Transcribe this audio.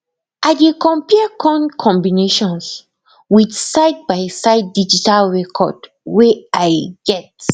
i dey compare corn combinations with sidebyside digital record wey i get